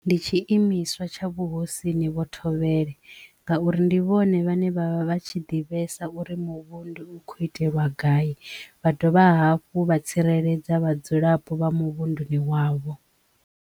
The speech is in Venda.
Ndi tshi imiswa tsha vhuhosini vho thovhele ngauri ndi vhone vhane vha vha vha tshi ḓivhesa uri muvhundu u kho itelwa gai vha dovha hafhu vha tsireledza vhadzulapo vha muvhunduni wavho.